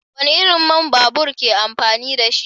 Wani irin man babur ke amfani da shi?